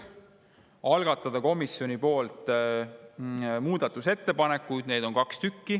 Algatada komisjoni poolt muudatusettepanekud, neid on kaks.